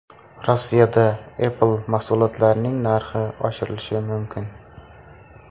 Rossiyada Apple mahsulotlarining narxi oshirilishi mumkin.